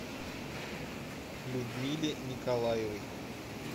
людмиле николаевой